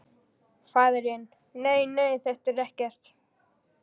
Faðirinn: Nei nei, þetta er ekkert.